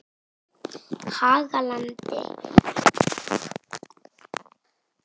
Hagalandi